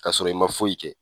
Ka sɔrɔ i ma foyi kɛ